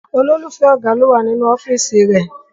Olólùfẹ́ ọ̀gá ni ó wà nínú ọ́fíísì rẹ̀.